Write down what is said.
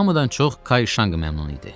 Hamıdan çox Kay Şanq məmnun idi.